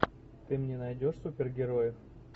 ты мне найдешь супергероев